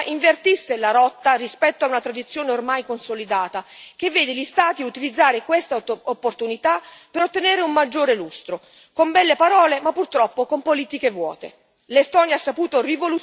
Mi piacerebbe invece che l'Estonia invertisse la rotta rispetto a una tradizione ormai consolidata, che vede gli Stati utilizzare questa opportunità per ottenere un maggiore lustro, con belle parole, ma purtroppo con politiche vuote.